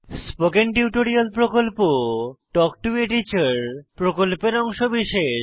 spoken tutorial প্রকল্প talk to a teacher প্রকল্পের অংশবিশেষ